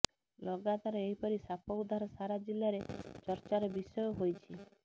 ଲଗାତର ଏହିପରି ସାପ ଉଦ୍ଧାର ସାରା ଜିଲ୍ଲାରେ ଚର୍ଚ୍ଚାର ବିଷୟ ହୋଇଛି